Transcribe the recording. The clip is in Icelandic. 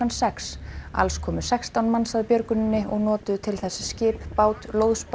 sex alls komu sextán manns að björguninni og notuðu til þess skip bát